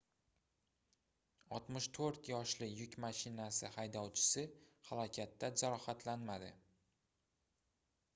64 yoshli yuk mashinasi haydovchisi halokatda jarohatlanmadi